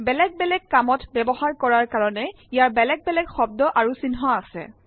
বেলেগ বেলেগ কামত ব্যৱহাৰ কৰাৰ কৰেন ইয়াৰ বেলগ বেলেগ শব্দ আৰু চিহ্ন আছে